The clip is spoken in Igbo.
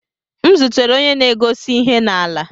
M zutere onye na-egosi ihe na-ala.